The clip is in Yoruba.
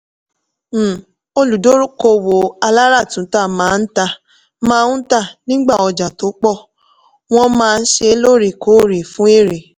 um olùdókòwò aláràtúntà máa ń tà máa ń tà nígbà ọjà tó pọ̀ wọ́n máa ṣe lóòrèkóòrè fún èrè.